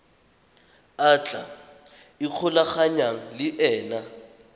a tla ikgolaganyang le ena